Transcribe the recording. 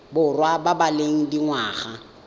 borwa ba ba leng dingwaga